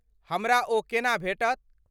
हमरा ओ केना भेटत?